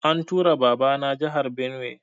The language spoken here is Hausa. An tura Baba na jahar Benue